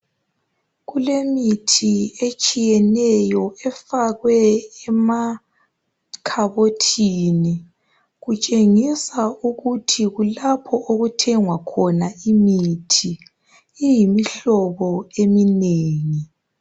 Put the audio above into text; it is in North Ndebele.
Kulemithi etshiyeneyo. Efakwe emakhabothini. Kutshengisa ukuthi kulapho okuthengwa khona imithi. Iyimihlobo eminengi.